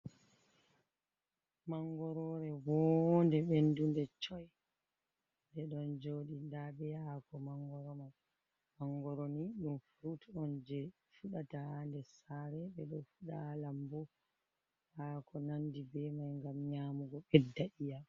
Mangorore vonnde, ɓendunde, coyi nde ɗon joɗi nda be hako mangoro, mangoro ni ɗum furut on je fuɗata ha nder sare ɓeɗo fuda lambu hako nandi be mai ngam nyamugo bedɗa iiƴam.